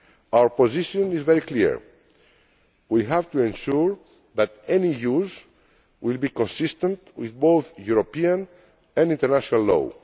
Our position is very clear we have to ensure that any use will be consistent with both European and international law.